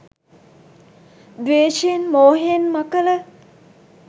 ද්වේශයෙන් මෝහයෙන් මකල.